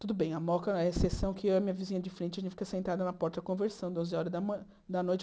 Tudo bem, a moca é a exceção que eu e a minha vizinha de frente, a gente fica sentada na porta conversando, doze horas da man da noite.